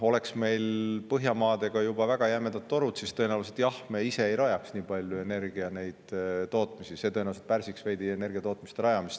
Oleks meil Põhjamaadega juba väga jämedate torudega, siis tõenäoliselt me jah ise ei rajaks nii palju energiatootmisi, sest see tõenäoliselt pärsiks veidi energiatootmiste rajamist.